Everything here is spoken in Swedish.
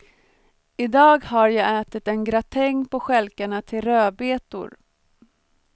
I dag har jag ätit en gratäng på stjälkarna till rödbetor.